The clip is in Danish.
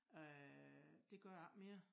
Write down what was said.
Øh det gør jeg ikke mere